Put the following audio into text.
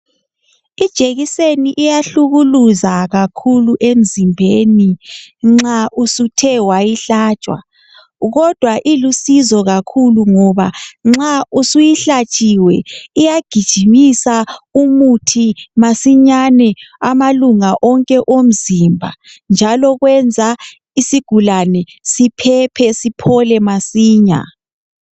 Ijekiseni iyahlukyluza kakhulu emzimbeni nxa usthe wayihlatshwa kodwa ilusizo kakhulu ngoba nxa isuyihlatshiwe iyagijimisa umuthi masinyane amalunga onke omzimba njalo kwenza isigulane siphephe siphole masinya.